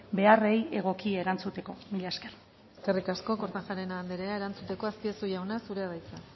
beharrei egoki erantzuteko mila esker eskerrik asko kortajarena anderea erantzuteko azpiazu jauna zurea da hitza